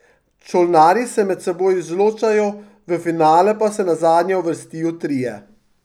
Čolnarji se med seboj izločajo, v finale pa se nazadnje uvrstijo trije.